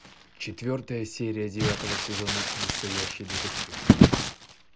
четвертая серия девятого сезона настоящий детектив